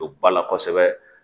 Don ba la kosɛbɛ